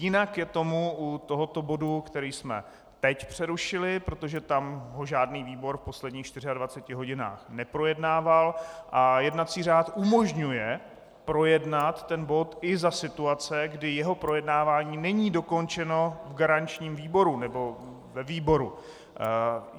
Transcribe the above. Jinak je tomu u tohoto bodu, který jsme teď přerušili, protože tam to žádný výbor v posledních 24 hodinách neprojednával a jednací řád umožňuje projednat ten bod i za situace, kdy jeho projednávání není dokončeno v garančním výboru, nebo ve výboru.